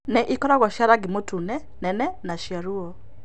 Nĩ ĩkoragwo cia rangi mũtune, nene na cia ruo.